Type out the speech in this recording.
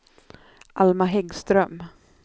Alma Häggström